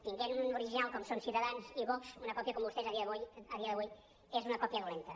tenint un original com són ciutadans i vox una còpia com vostès a dia d’avui és una còpia dolenta